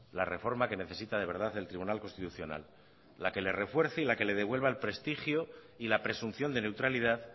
la reforma que necesita de verdad el tribunal constitucional la que le refuerce y la que le devuelva el prestigio y la presunción de neutralidad